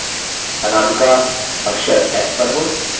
अनामिका अक्षर s पर हो